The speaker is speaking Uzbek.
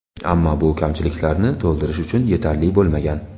Ammo bu kamchiliklarni to‘ldirish uchun yetarli bo‘lmagan.